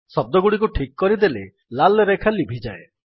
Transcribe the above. ଶଦ୍ଦଗୁଡ଼ିକୁ ଠିକ୍ କରିଦେଲେ ଲାଲ୍ ରେଖା ଲିଭିଯାଏ